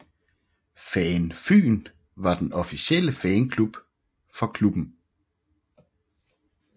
FAN FYN var den officielle fanklub for klubben